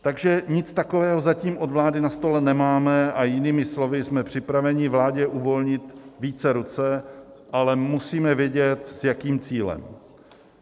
Takže nic takového zatím od vlády na stole nemáme, a jinými slovy, jsme připraveni vládě uvolnit více ruce, ale musíme vědět, s jakým cílem.